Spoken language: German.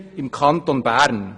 Und das hier im Kanton Bern.